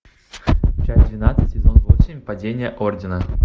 часть двенадцать сезон восемь падение ордена